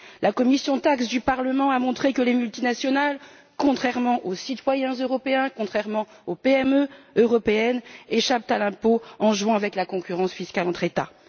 La commission TAXE du Parlement a montré que les multinationales, contrairement aux citoyens européens, contrairement aux PME européennes, échappent à l'impôt en jouant avec la concurrence fiscale entre États.